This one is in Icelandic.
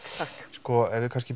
sko ef við